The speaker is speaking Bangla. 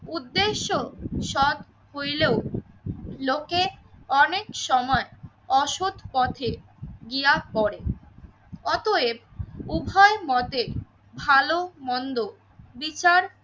উদ্দেশ্য সৎ হইলেও লোকে অনেক সময় অসৎ পথে গিয়া পরে। অতএব উভয় মতে ভালো মন্দ বিচার